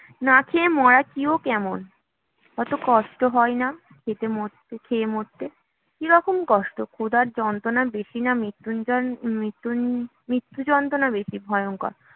না-খেয়ে মরা, কী ও কেমন? কত কষ্ট হয় না খেতে মরতে খেয়ে মরতে, কী রকম কষ্ট? ক্ষুধার যাতনা বেশি, না মৃতুযন মৃত্যু মৃত্যুযন্ত্রণা বেশি ভয়ঙ্কর